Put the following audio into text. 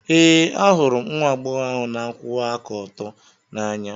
Ee, ahụrụ m nwa agbọghọ ahụ na-akwụwa aka ọtọ n'anya.